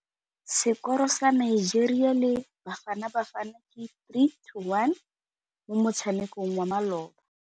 Sekôrô sa Nigeria le Bafanabafana ke 3-1 mo motshamekong wa malôba.